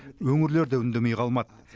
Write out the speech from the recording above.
өңірлер де үндемей қалмады